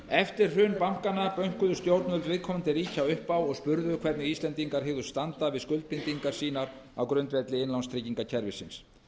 eftir hrun bankanna bönkuðu stjórnvöld viðkomandi ríkja upp á og spurðu hvernig íslendingar hygðust standa við skuldbindingar sínar á grundvelli innlánstryggingakerfisins